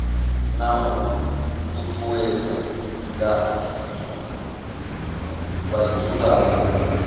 na u ṱuṱuwedzwa nga vhadzulapo